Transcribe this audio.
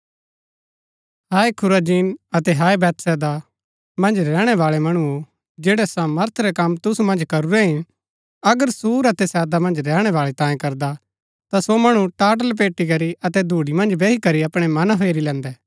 हाय Chorazin अतै हाय Bethsaida मन्ज रैहणै बाळै मणुओ जैड़ै सामर्थ रै कम तुसु मन्ज करूरै हिन अगर सूर अतै सैदा मन्ज रैहणै बाळै तांई करदा ता सो मणु टाट लपेटी करी अतै धूड़ी मन्ज बैही करी अपणै मना फेरी लैन्दै